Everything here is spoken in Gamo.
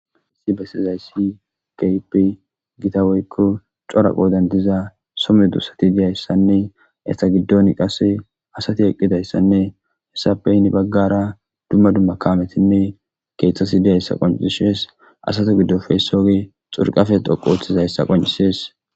Haysi besizaysi keehippe Gita woyko cora qodani diza so medosati diyaysanne eta gidoni qase asati eqidaysanne hesappe heni bagara dumma dumma kaametinne keethati dizaysa qoncises, asaza gidoppe isozi xurqappe xoqu othizaysa qoncises.